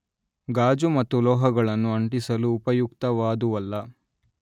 ಗಾಜು ಮತ್ತು ಲೋಹಗಳನ್ನು ಅಂಟಿಸಲು ಉಪಯುಕ್ತವಾದುವಲ್ಲ